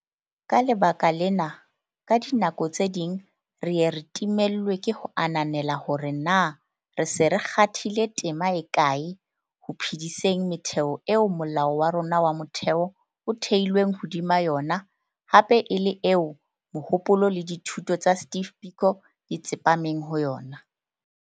Ka lebaka lena, ka dinako tse ding re ye re timellwe ke ho ananela hore na re se re kgathile tema e kae ho phe-diseng metheo eo Molao wa rona wa Motheo o theilweng hodima yona hape e le eo mohopolo le dithuto tsa Steve Biko di tsepameng ho yona.